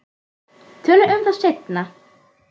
Tölum um það seinna.